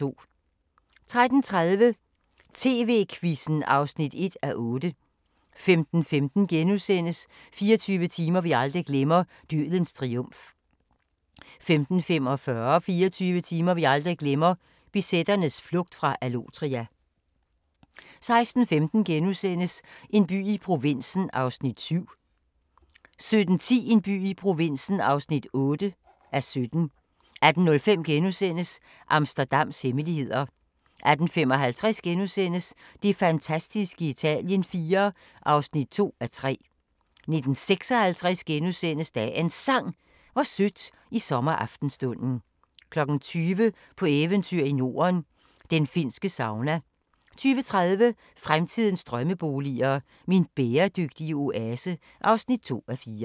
13:30: TV-Quizzen (1:8) 15:15: 24 timer vi aldrig glemmer – Dødens triumf * 15:45: 24 timer vi aldrig glemmer – BZ'ernes flugt fra Allotria 16:15: En by i provinsen (7:17)* 17:10: En by i provinsen (8:17) 18:05: Amsterdams hemmeligheder * 18:55: Det fantastiske Italien IV (2:3)* 19:56: Dagens Sang: Hvor sødt i sommeraftenstunden * 20:00: På eventyr i Norden – den finske sauna 20:30: Fremtidens drømmeboliger: Min bæredygtige oase (2:4)